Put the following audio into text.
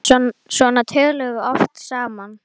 Svona töluðum við oft saman.